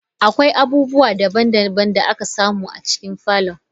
Akwai abubuwa daban-daban da aka samu a cikin falon.